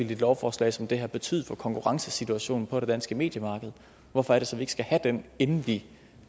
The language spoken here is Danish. lovforslag som det her vil betyde for konkurrencesituationen på det danske mediemarked hvorfor er det så ikke skal have den inden vi